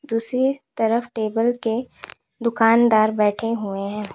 दूसरी तरफ टेबल के दुकानदार बैठे हुए है।